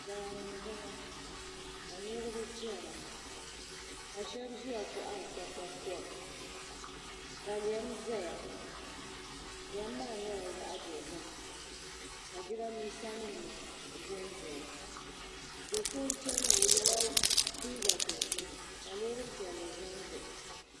Daani n boŋo ka niraba chɛna ka shab ʒiya kohari kpakpa kom ka lɛm ʒɛya lɛm maa nyɛla zaɣ dozim ka jiranbiisa nim ʒɛnʒɛya do so n chɛni ŋo o yɛla liiga dozim ka loori piɛlli ʒɛ n baɣa o